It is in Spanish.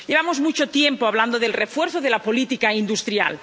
Llevamos mucho tiempo hablando del refuerzo de la política industrial.